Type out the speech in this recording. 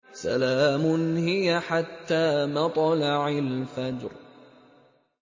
سَلَامٌ هِيَ حَتَّىٰ مَطْلَعِ الْفَجْرِ